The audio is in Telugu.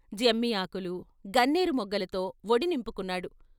జమ్మి ఆకులు, గన్నేరు మొగ్గలతో వొడి నింపుకున్నాడు.